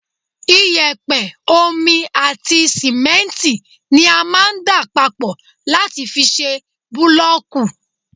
iyẹ̀pẹ̀, omi àti sìmẹ́ntì ni a máà ń dà papọ̀ láti fi ṣe bulooku